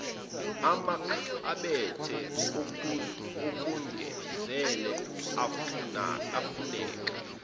amakhabethe okugezela afuneka